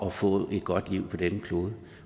at få et godt liv på denne klode